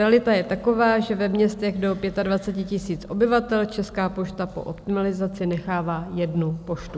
Realita je taková, že ve městech do 25 000 obyvatel Česká pošta po optimalizaci nechává jednu poštu.